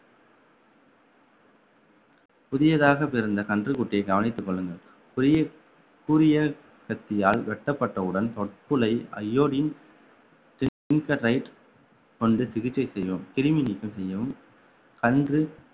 புதியதாக பிறந்த கன்றுக்குட்டியை கவனித்துக் கொள்ளுங்கள் புதிய கூரிய கத்தியால் வெட்டப்பட்டவுடன் தொப்புளை iodine கொண்டு சிகிச்சை செய்யவும் கிருமி நீக்கம் செய்யவும் கன்று